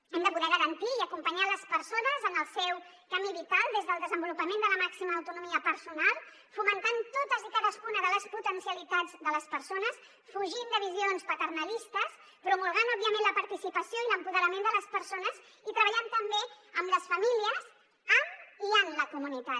hem de poder garantir i acompanyar les persones en el seu camí vital des del desenvolupament de la màxima autonomia personal fomentant totes i cadascuna de les potencialitats de les persones fugint de visions paternalistes promulgant òbviament la participació i l’empoderament de les persones i treballant també amb les famílies amb i en la comunitat